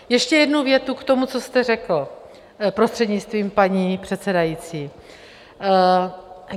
Ještě jednu větu k tomu, co jste řekl, prostřednictvím paní předsedající.